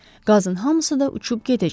Qazın hamısı da uçub gedəcək.